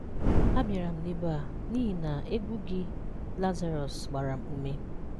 A bịara m n'ebe a, n'ihi na egwú gị Lazarọs, gbara m ụmé.